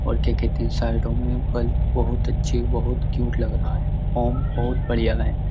और ठीक है तीन साइडों मे बल्ब बहुत अच्छे बहुत क्यूट लग रहा है। होम बहुत बढ़िया है।